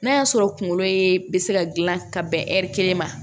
N'a y'a sɔrɔ kunkolo ye be se ka gilan ka bɛn ɛri kelen ma